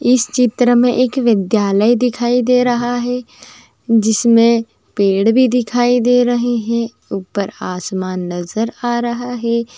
इस चित्र मे एक विद्यालय दिखाई दे रहा है जिसमे पेड़ भी दिखाई दे रहे हैं | उपर आसमान नजर आ रहा है।